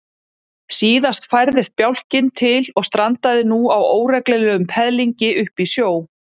Síðan færðist bjálkinn til og strandaði nú á óreglulegum peðlingi uppi í sjó.